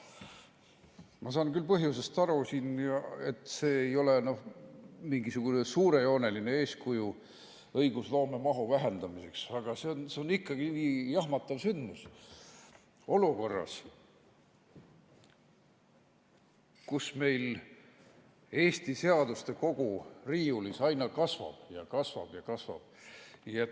Ma saan küll põhjusest aru, et see ei ole mingisugune suurejooneline eeskuju õigusloome mahu vähendamiseks, aga see on ikkagi jahmatav sündmus olukorras, kus meil Eesti seaduste kogu riiulis aina kasvab ja kasvab ja kasvab.